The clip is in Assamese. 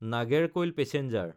নাগেৰকৈল পেচেঞ্জাৰ